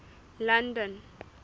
london